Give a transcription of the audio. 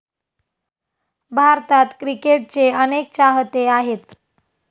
भारतात क्रिकेटचे अनेक चाहते आहेत.